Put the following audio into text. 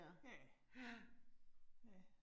Ja. Ja